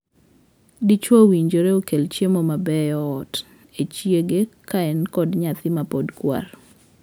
Dichwo owinjore okel chiemo mabeyo ot e chiege ka en kod nyathi mapod kwar.